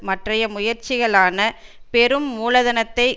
மற்றைய முயற்சிகளான பெரும் மூலதனத்தை